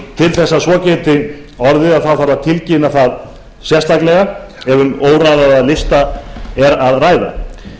til þess að svo geti orðið þarf að tilkynna sérstaklega ef um óraðaða lista er að ræða